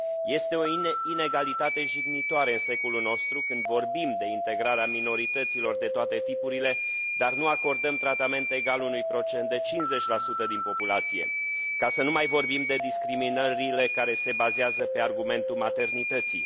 Este o inegalitate jignitoare în secolul nostru când vorbim de integrarea minorităților de toate tipurile, dar nu acordăm tratament egal unui procent de 50 din populație, ca să nu mai vorbim de discriminările care se bazează pe argumentul maternității.